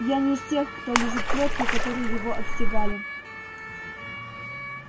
я не из тех кто лижет плётку которой его отстегали